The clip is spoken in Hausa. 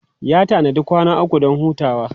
Ya tanadi kwana uku don hutawa.